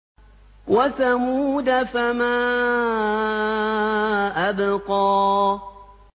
وَثَمُودَ فَمَا أَبْقَىٰ